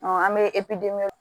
an bɛ